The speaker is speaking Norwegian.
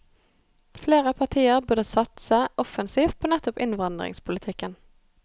Flere partier burde satse offensivt på nettopp innvandringspolitikken.